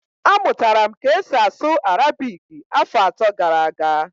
Amụtara m ka esi asụ Arabiki afọ atọ gara aga